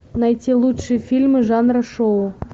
найти лучшие фильмы жанра шоу